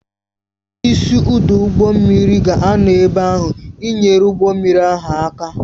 Onye isi ọdụ ụgbọ mmiri ga-anọ ebe ahụ ị nyere ụgbọ mmiri ahụ aka